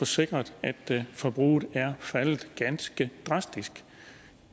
sikret at forbruget er faldet ganske drastisk